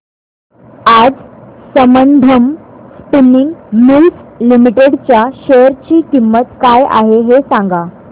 आज Sambandam spinning mills limited च्या share ची किंमत काय आहे हे सांगा